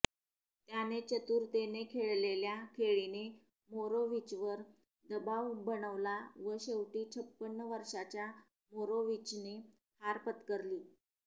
त्याने चतुरतेने खेळलेल्या खेळीने मोरोविचवर दबाव बनवला व शेवटी छप्पन्न वर्षाच्या मोरोविचने हार पत्करली